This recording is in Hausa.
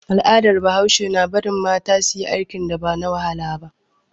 Al'adar bahaushe na bari mata suyi aikin da ba na wahala bane